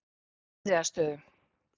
Indriðastöðum